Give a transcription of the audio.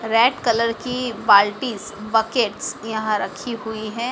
Red colour की बाल्टीस buckets यहां रखी हुई है।